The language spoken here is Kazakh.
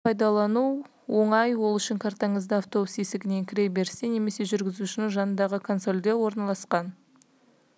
көлік карталарын пайдалану оңай ол үшін картаңызды автобус есігінен кіре берісте немесе жүргізушінің жанындағы консольде орналасқан